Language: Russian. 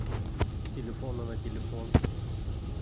с телефона на телефон